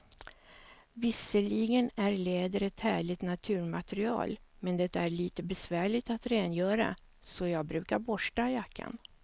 Visserligen är läder ett härligt naturmaterial, men det är lite besvärligt att rengöra, så jag brukar borsta jackan.